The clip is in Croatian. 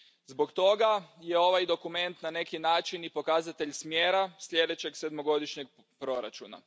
Zbog toga je ovaj dokument na neki način i pokazatelj smjera sljedećeg sedmogodišnjeg proračuna.